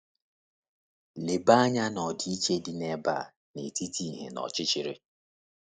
Leba anya na ọdịiche dị ebe a n’etiti ìhè na ọchịchịrị.